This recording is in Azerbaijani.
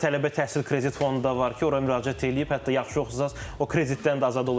Tələbə təhsil kredit fondu da var ki, ora müraciət eləyib, hətta yaxşı oxusanız o kreditdən də azad olursunuz.